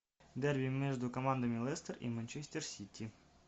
дерби между командами лестер и манчестер сити